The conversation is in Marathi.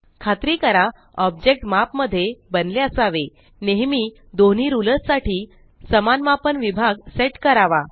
खात्री करा ऑब्जेक्ट माप मध्ये बनले असावे नेहेमी दोन्ही रुलर्स साठी समान मापन विभाग सेट करावा